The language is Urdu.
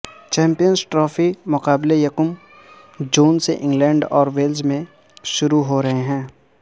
چیمپیئنز ٹرافی کے مقابلے یکم جون سے انگلینڈ اور ویلز میں شروع ہو رہے ہیں